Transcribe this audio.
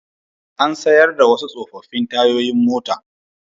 An sayar da wasu tsofaffin tayoyin mota